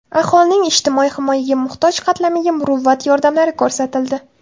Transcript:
Aholining ijtimoiy himoyaga muhtoj qatlamiga muruvvat yordamlari ko‘rsatildi.